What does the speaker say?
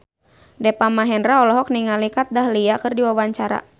Deva Mahendra olohok ningali Kat Dahlia keur diwawancara